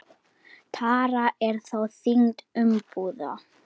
Tara er þá þyngd umbúða.